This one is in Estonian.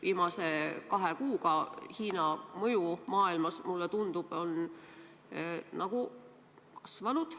Viimase kahe kuuga Hiina mõju maailmas, mulle tundub, on kasvanud.